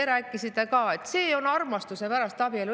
Te rääkisite ka, et see on abielu armastuse pärast.